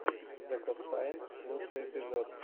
зэкостнайн лучший эпизод